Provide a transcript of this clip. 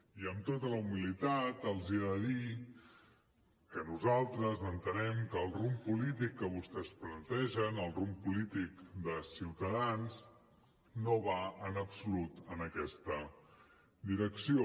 i amb tota la humilitat els he de dir que nosaltres entenem que el rumb polític que vostès plantegen el rumb polític de ciutadans no va en absolut en aquesta direcció